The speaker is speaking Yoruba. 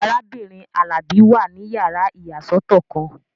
Arábìnrin Alabi wà ní yàrá ìyàsọ́tọ̀ kan